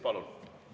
Palun!